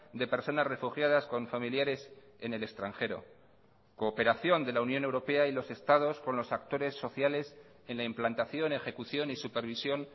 de personas refugiadas con familiares en el extranjero cooperación de la unión europea y los estados con los actores sociales en la implantación ejecución y supervisión